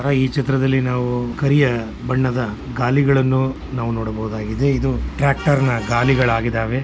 ಈ ಚಿತ್ರದಲ್ಲಿ ನಾವು ಕರಿಯ ಬಣ್ಣದ ಗಾಲಿಗಳನ್ನು ನಾವು ನೋಡಬಹುದಾಗಿದೆ ಇದು ಟ್ರಾಕ್ಟಾರ್ ನ ಗಾಲಿಗಳಾಗಿದಾವೆ.